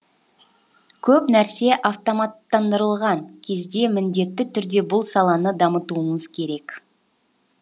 көп нәрсе автоматтандырылған кезде міндетті түрде бұл саланы дамытуымыз керек